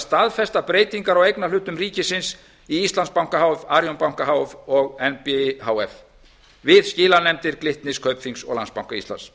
staðfesta breytingar á eignarhlutum ríkisins í íslandsbanka h f arionbanka h f og ári háttvirtur við skilanefndir kaupþings og landsbanka íslands